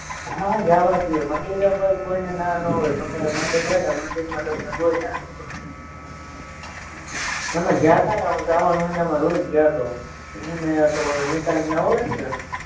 હા જવાજદેય મંદિરે કોય કોયને ના નો હોય ગમેયી મંદિર હોય ને મંદિરમાં તમને કોય નાનો પાણે હમે ગ્યાતાને હું શ્રાવણ મયનામાં રોજ જાતો હું હુંને એક ઓલો નિતાંતને ઓળયખને